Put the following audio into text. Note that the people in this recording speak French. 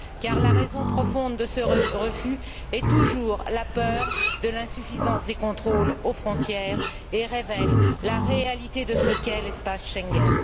Car la raison profonde de ce refus est toujours la peur de l'insuffisance des contrôles aux frontières et révèle la réalité de ce qu'est l'espace Schengen.